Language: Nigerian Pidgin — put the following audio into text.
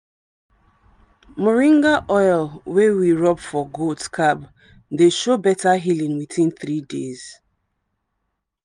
moringa oil wey we rub for goat scab dey show better healing within three days.